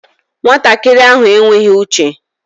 Nwatakịrị ahụ enweghị uche